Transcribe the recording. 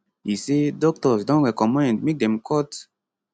e say doctors don recommend make dem cut